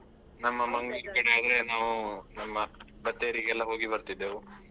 ನಾವು ನಮ್ಮ ಬತ್ತೇರಿಗೆಲ್ಲ ಹೋಗಿ ಬರ್ತಿದ್ದೆವು.